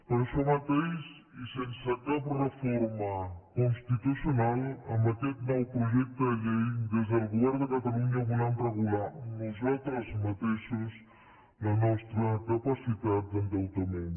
per això mateix i sense cap reforma constitucional amb aquest nou projecte de llei des del govern de catalunya volem regular nosaltres mateixos la nostra capacitat d’endeutament